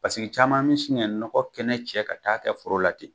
Pasiki caman mi sin kɛ nɔgɔ kɛnɛ cɛ ka taa kɛ foro la ten.